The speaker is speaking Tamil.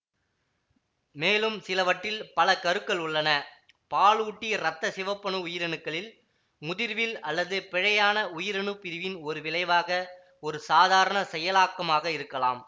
மேலும் சிலவற்றில் பல கருக்கள் உள்ளன பாலூட்டி இரத்த சிவப்பணு உயிரணுக்களின் முதிர்வில் அல்லது பிழையான உயிரணுப் பிரிவின் ஒரு விளைவாக ஒரு சாதாரண செயலாக்கமாக இருக்கலாம்